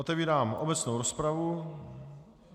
Otevírám obecnou rozpravu.